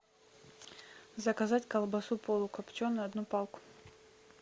заказать колбасу полукопченую одну палку